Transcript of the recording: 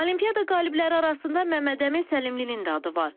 Olimpiada qalibləri arasında Məmmədəmin Səlimlinin də adı var.